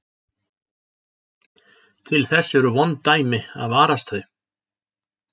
Til þess eru vond dæmi að varast þau.